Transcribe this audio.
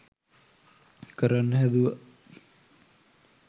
කරන්න හැදුව